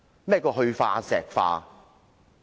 何謂"去化石化"？